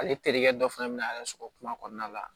Ale terikɛ dɔ fana bɛ na yɛrɛ sɔrɔ kuma kɔnɔna la